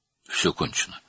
"Hər şey bitdi."